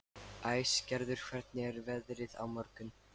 Æsgerður, hvernig er veðrið á morgun?